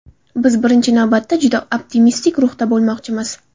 Biz, birinchi navbatda, juda optimistik ruhda bo‘lmoqchimiz.